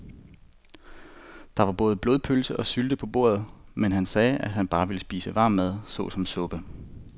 Der var både blodpølse og sylte på bordet, men han sagde, at han bare ville spise varm mad såsom suppe.